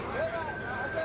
Yavaş, yavaş.